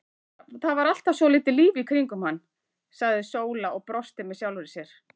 Það var alltaf svolítið líf í kringum hann, sagði Sóla og brosti með sjálfri sér.